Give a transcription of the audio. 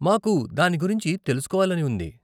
మాకు దాని గురించి తెలుసుకోవాలని ఉంది.